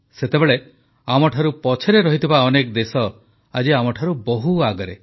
ସେତେବେଳେ ଆମଠାରୁ ପଛରେ ଥିବା ଅନେକ ଦେଶ ଆଜି ଆମଠାରୁ ବହୁ ଆଗରେ